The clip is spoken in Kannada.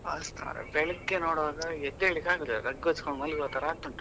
ಅವಸ್ಥೆ ಮರ್ರೆ, ಬೆಳಿಗ್ಗೆ ನೋಡ್ವಾಗ ಎದೇಳಿಕ್ಕೆ ಆಗೋದಿಲ್ಲ rug ಹೊದ್ಕೊಂಡು ಮಲಗುವತರ ಆಗ್ತುಂಟು.